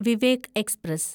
Vivek express